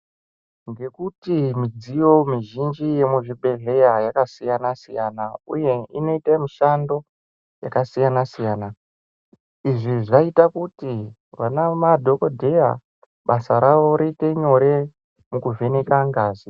Ngekuti midziyo mizhinji yemuzvibhedhleya yakasiyana siyana uye inoite mishando yakasiyana siyana izvi zvaita kuti ana madhokodheya basa ravo riite nyore pakuvheneka ngazi.